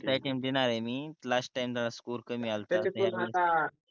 चौथा अटेम्प्ट देणार आहे मी लास्ट टाइम जर स्कोर कमी अल्टा